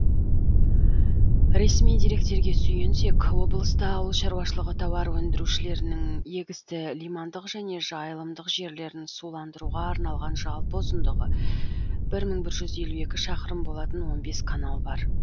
ресми деректерге сүйенсек облыста ауыл шаруашылығы тауар өндірушілерінің егісті лимандық және жайылымдық жерлерін суландыруға арналған жалпы ұзындығы бір мың бір жүз елу екі шақырым болатын он бес канал бар